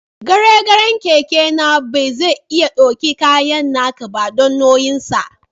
Garen garen keke na ba zai iya daukin kayan naka ba, dan nauyin sa.